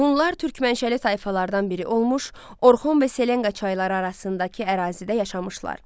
Hunlar türk mənşəli tayfalardan biri olmuş, Orxon və Selenqa çayları arasındakı ərazidə yaşamışlar.